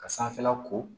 Ka sanfɛla ko